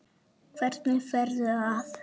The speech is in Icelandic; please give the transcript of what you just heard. Hvernig ferðu að?